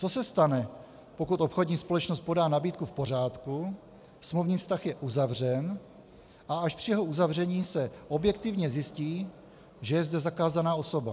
Co se stane, pokud obchodní společnost podá nabídku v pořádku, smluvní vztah je uzavřen, a až při jeho uzavření se objektivně zjistí, že je zde zakázaná osoba?